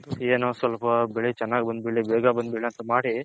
ಏನೋ ಸ್ವಲ್ಪ ಬೆಳೆ ಚೆನ್ನಾಗ್ ಬಂದಬಿಡ್ಲಿ ಬೇಗ ಬಂದಬುಡ್ಲಿ ಅಂತ ಮಾಡಿ